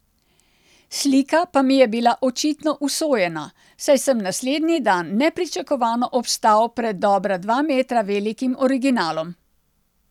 Slika pa mi je bila očitno usojena, saj sem naslednji dan nepričakovano obstal pred dobra dva metra velikim originalom.